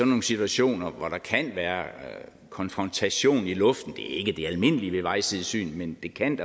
nogle situationer hvor der kan være konfrontation i luften det ikke det almindelige ved vejsidesyn men det kan